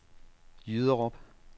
Jyderup